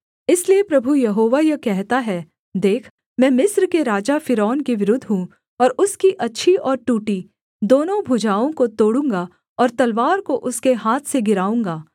इसलिए प्रभु यहोवा यह कहता है देख मैं मिस्र के राजा फ़िरौन के विरुद्ध हूँ और उसकी अच्छी और टूटी दोनों भुजाओं को तोड़ूँगा और तलवार को उसके हाथ से गिराऊँगा